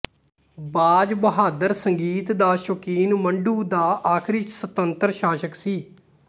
ਬਾਜ਼ ਬਹਾਦੁਰ ਸੰਗੀਤ ਦਾ ਸ਼ੌਕੀਨ ਮੰਡੂ ਦਾ ਆਖਰੀ ਸੁਤੰਤਰ ਸ਼ਾਸਕ ਸੀ